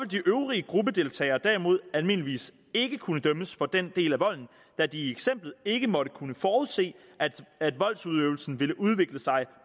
de øvrige gruppedeltagere derimod almindeligvis ikke kunne dømmes for den del af volden da de i eksemplet ikke måtte kunne forudse at voldsudøvelsen ville udvikle sig